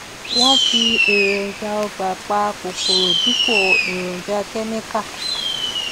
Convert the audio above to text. wọn fi èròjà ọgbà pa kòkòrò dípò èròjà kẹmíkà